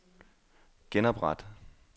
genopret